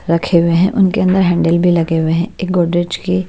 रखे हुए हैं उनके अंदर हैंडल भी लगे हुए हैं एक गोड्रेज की--